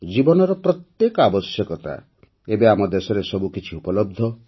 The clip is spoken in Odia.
ଜୀବନର ପ୍ରତ୍ୟେକ ଆବଶ୍ୟକତା ଏବେ ଆମ ଦେଶରେ ସବୁ କିଛି ଉପଲବ୍ଧ